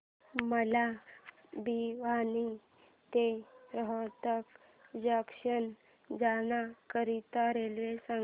मला भिवानी ते रोहतक जंक्शन जाण्या करीता रेल्वे सांगा